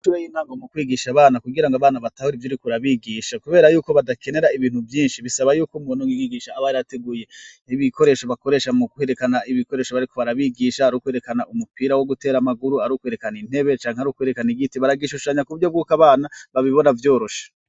Amashure y'intango mu kwigisha abana kugira ngo abana batahura ivyo uriko urabigisha, kubera yuko badakenera ibintu vyinshi bisaba yuko umuntu w'umwigisha aba yarateguye ibikoresho bakoresha mu kwerekana ibikoresho bariko barabigisha, ari ukwerekana umupira wo gutera amaguru, ari ukwerekana intebe canke ari ukwerekana igiti, baragishushanya ku buryo bwuko abana babibona vyoroshe.